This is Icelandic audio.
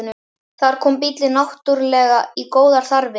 Þar kom bíllinn náttúrlega í góðar þarfir.